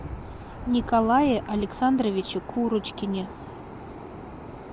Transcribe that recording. николае александровиче курочкине